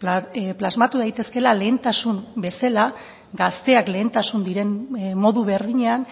plasmatu daitezkeela lehentasun bezala gazteak lehentasun diren modu berdinean